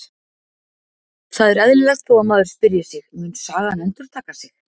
Það er eðlilegt þó að maður spyrji sig: Mun sagan endurtaka sig?